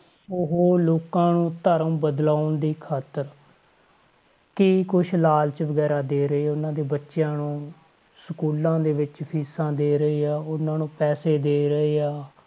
ਉਹ ਲੋਕਾਂ ਨੂੰ ਧਰਮ ਬਦਲਾਉਣ ਦੀ ਖ਼ਾਤਰ ਕੀ ਕੁਛ ਲਾਲਚ ਵਗ਼ੈਰਾ ਦੇ ਰਹੇ ਉਹਨਾਂ ਦੇ ਬੱਚਿਆਂ ਨੂੰ schools ਦੇ ਵਿੱਚ ਫ਼ੀਸਾਂ ਦੇ ਰਹੇ ਆ ਉਹਨਾਂ ਨੂੰ ਪੈਸੇ ਦੇ ਰਹੇ ਆ,